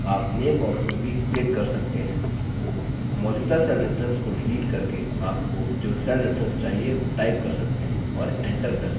आप name box में भी click कर सकते हैं मौजूदा cell reference को डिलीट करके आपको जो cell reference चाहिए वो type कर सकते हैं और enter press करें